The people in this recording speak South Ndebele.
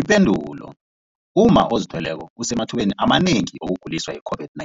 Ipendulo, umma ozithweleko usemathubeni amanengi wokuguliswa yi-COVID-19.